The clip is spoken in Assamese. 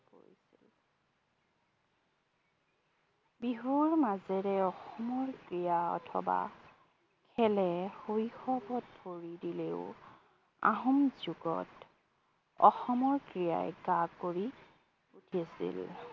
বিহুৰ মাজেৰে অসমৰ ক্ৰীড়া অথবা খেলে শৈসৱত ভৰি দিলেও আহোম যুগত অসমৰ ক্ৰীড়ায়ে গা কৰি উঠিছিল